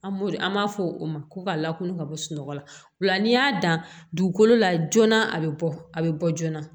An b'o an b'a fɔ o ma ko ka lakana bɔla nka n'i y'a dan dugukolo la joona a bɛ bɔ a bɛ bɔ joona